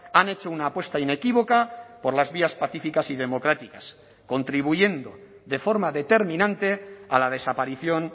han hecho una apuesta inequívoca por las vías pacíficas y democráticas contribuyendo de forma determinante a la desaparición